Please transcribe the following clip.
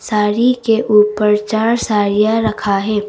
साड़ी के ऊपर चार साड़ियां रखा है।